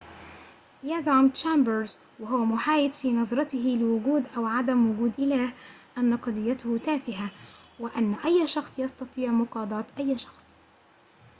يزعم تشامبرز وهو محايد في نظرته لوجود أو عدم وجود إله أن قضيته تافهة وأن أي شخص يستطيع مقاضاة أي شخص